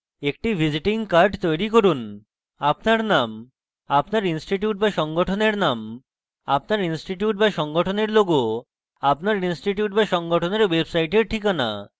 একটি visiting card তৈরী করুন